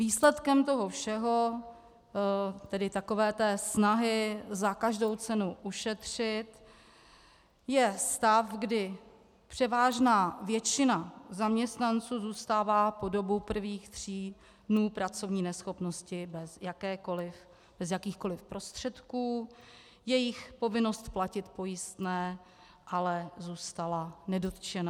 Výsledkem toho všeho, tedy takové té snahy za každou cenu ušetřit, je stav, kdy převážná většina zaměstnanců zůstává po dobu prvních tří dnů pracovní neschopnosti bez jakýchkoli prostředků, jejich povinnost platit pojistné ale zůstala nedotčena.